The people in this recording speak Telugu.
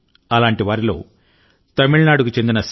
అలాంటి వారిలో తమిళనాడుకు చెందిన సి